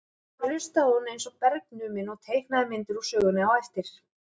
Þá hlustaði hún eins og bergnumin og teiknaði myndir úr sögunni á eftir.